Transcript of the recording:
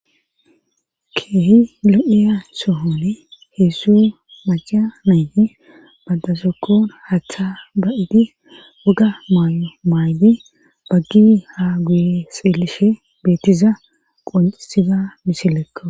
Keehi lo'iya sohoni heessu maca mayti badasokkon hatha ba'di wuga maay'o maaydi baggi ha guye seelishe beettiza qoncisida misilekko.